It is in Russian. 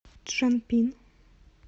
чжанпин